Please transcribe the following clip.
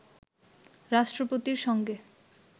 রাষ্ট্রপতির সঙ্গে